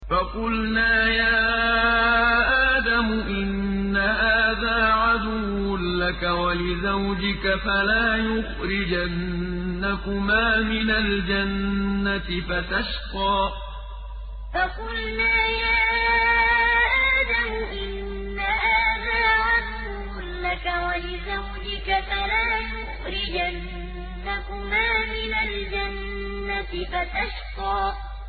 فَقُلْنَا يَا آدَمُ إِنَّ هَٰذَا عَدُوٌّ لَّكَ وَلِزَوْجِكَ فَلَا يُخْرِجَنَّكُمَا مِنَ الْجَنَّةِ فَتَشْقَىٰ فَقُلْنَا يَا آدَمُ إِنَّ هَٰذَا عَدُوٌّ لَّكَ وَلِزَوْجِكَ فَلَا يُخْرِجَنَّكُمَا مِنَ الْجَنَّةِ فَتَشْقَىٰ